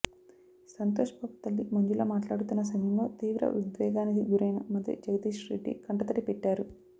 సంతోష్బాబు తల్లి మంజుల మాట్లాడుతున్న సమయంలో తీవ్ర ఉద్వేగానికి గురైన మంత్రి జగదీశ్రెడ్డి కంటతడి పెట్టారు